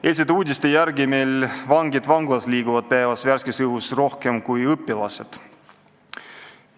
Eilsete uudiste järgi liiguvad meil vangid vanglas päevas värskes õhus rohkem kui õpilased.